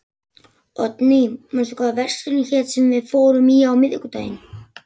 Oddný, manstu hvað verslunin hét sem við fórum í á miðvikudaginn?